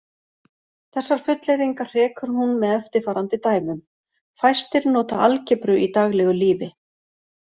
Þessar fullyrðingar hrekur hún með eftirfarandi dæmum: Fæstir nota algebru í daglegu lífi.